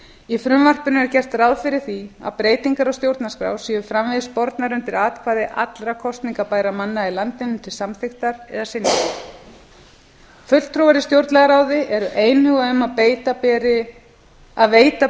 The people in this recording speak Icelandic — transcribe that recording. í frumvarpinu er gert ráð fyrir að breytingar á stjórnarskrá séu framvegis bornar undir atkvæði allra kosningabærra manna í landinu til samþykktar eða synjunar fulltrúar í stjórnlagaráði eru einhuga um að veita